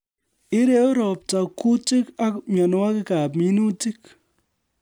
Ireu robta kuutik ak mienwokikab minutik